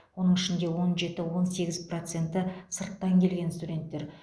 оның ішінде он жеті он сегіз проценті сырттан келген студенттер